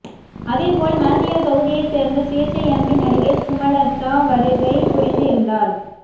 அதேபோல் மாண்டியா தொகுதியை சேர்ந்த சுயேச்சை எம்பி நடிகை சுமலதா வருகை புரிந்து இருந்தார்